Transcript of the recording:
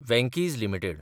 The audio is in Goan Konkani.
Venky's (India) limited